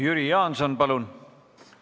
Jüri Jaanson, palun!